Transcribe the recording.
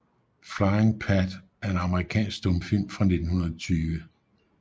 Flying Pat er en amerikansk stumfilm fra 1920 af F